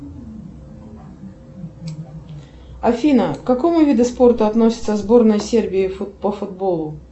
афина к какому виду спорта относится сборная сербии по футболу